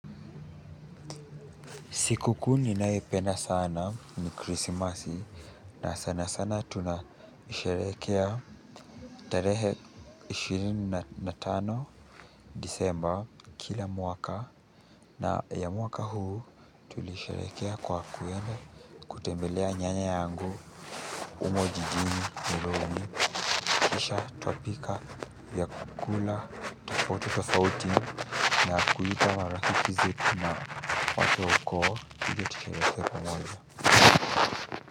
Sikukuu ninayo ipenda sana, ni Krismasi, na sana sana tunasherehekea tarehe ishirini na tano December kila mwaka, na ya mwaka huu. Tulisherehekea kwa kwenda kutembelea nyanya yangu humo jijini Nairobi kisha tukapika vyakula tofauti-tofauti na kuita marafiki zetu na watu wa ukoo tushiriki pamoja.